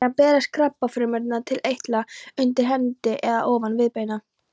Síðan berast krabbafrumurnar til eitla undir hendi eða ofan viðbeina.